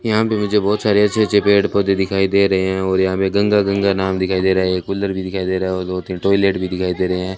यहां पे मुझे बहुत सारे अच्छे अच्छे पेड़ पौधे दिखाई दे रहे हैं और यहां हमें गंगा गंगा नाम दिखाई दे रहा है एक कूलर भी दिखाई दे रहा है और दो तीन टॉयलेट भी दिखाई दे रहे हैं।